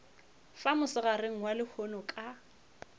fa mosegareng wa lehono ka